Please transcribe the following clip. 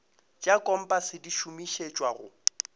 tša kompase di šomišetšwa go